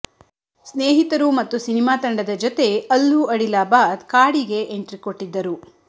ಸ್ನೇಹಿತರು ಮತ್ತು ಸಿನಿಮಾತಂಡದ ಜೊತೆ ಅಲ್ಲು ಅಡಿಲಾಬಾದ್ ಕಾಡಿಗೆ ಎಂಟ್ರಿ ಕೊಟ್ಟಿದ್ದರು